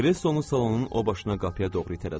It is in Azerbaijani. Kreslonu salonun o başına qapıya doğru itələdilər.